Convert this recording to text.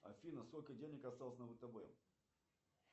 афина сколько денег осталось на втб